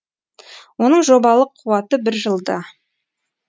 оның жобалық қуаты бір жылда